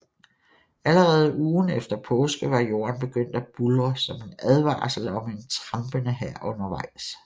Allerede ugen efter påske var jorden begyndt at buldre som en advarsel om en trampende hær undervejs